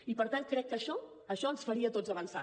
i per tant crec que això això ens faria a tots avançar